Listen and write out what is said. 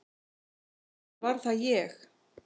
Eða var það ég?